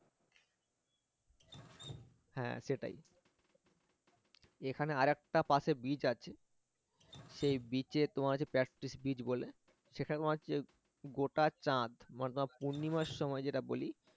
হ্যাঁ সেটাই এখানে আরেকটা পাশে beach আছে সেই beach এ তোমার হচ্ছে beach বলে সেখানে তোমার হচ্ছে গোটা চাঁদ মানে তোমার পূর্ণিমার সময় যেটা বলি